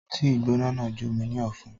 Tíì gbóná náà jó mi ní ọ̀fun.